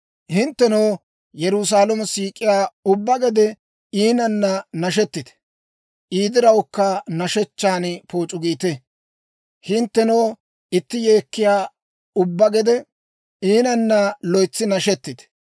«Hinttenoo Yerusaalamo siik'iyaa ubbatoo, iinanna nashettite; I dirawukka nashshechchaan pooc'u giite. Hinttenoo iissi yeekkiyaa ubbatoo, iinanna loytsi nashettite.